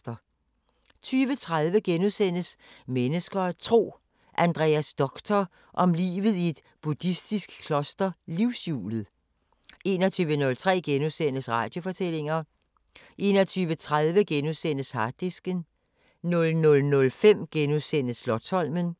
20:30: Mennesker og Tro: Andreas Doctor om livet i et buddhistisk kloster Livshjulet * 21:03: Radiofortællinger * 21:30: Harddisken * 00:05: Slotsholmen *